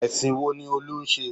Ẹ̀sìn wo ni Olú ń ṣe?